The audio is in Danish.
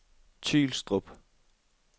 Tylstrup